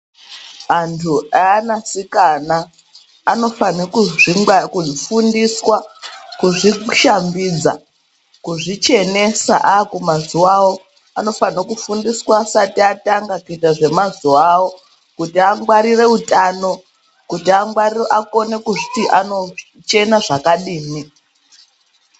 Antu eana sikana anofanirwa kufundiswa kuzvishambidza kuzvichenesa ava kuma zuwa avo vanofaniswa kuzvifundiswa asati atanga kuite mazuva kuti angwarire utano kuti akone kuzviti anochena zvkadini.